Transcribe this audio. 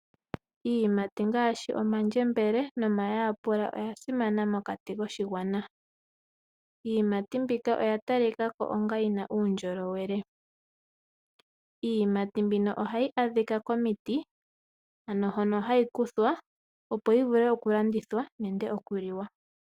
Iiyimati ngaashi omandjembele nomayapula oya simana mokati koshigwana. Iiyimati mbika oya talika ko yi na uundjolowele. Iiyimati mbika ohayi adhika komiti hono hayi kuthwa, opo yi vule okulandithwa nenge okuliwa.